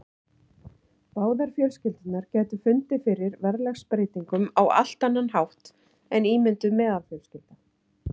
Báðar fjölskyldurnar gætu fundið fyrir verðlagsbreytingum á allt annan hátt en ímynduð meðalfjölskylda.